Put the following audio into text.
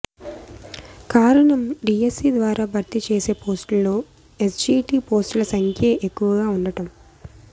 కారణం డీఎస్సీ ద్వారా భర్తీ చేసే పోస్టుల్లో ఎస్జీటీ పోస్టుల సంఖ్యే ఎక్కువగా ఉండటం